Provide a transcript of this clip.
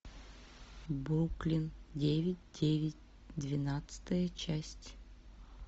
бруклин девять девять двенадцатая часть